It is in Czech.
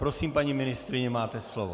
Prosím, paní ministryně, máte slovo.